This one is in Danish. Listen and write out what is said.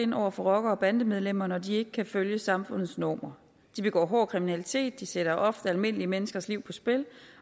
ind over for rockere og bandemedlemmer når de ikke kan følge samfundets normer de begår hård kriminalitet de sætter ofte almindelige menneskers liv på spil